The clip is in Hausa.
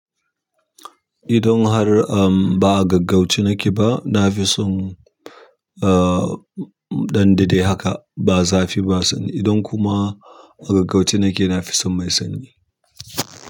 Idan har, am ba a gaggauce nake ba, na fi son, ah, mu ɗan daɗe haka ba zafi ba sanyi. Idan kuma a gaggauce nake, na fi son mai sanyi.